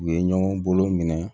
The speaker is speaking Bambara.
U ye ɲɔgɔn bolo minɛ